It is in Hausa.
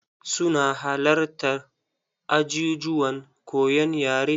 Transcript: Su na halattar ajijuwan koyon yare.